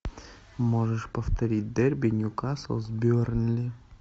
можешь повторить дерби ньюкасл с бернли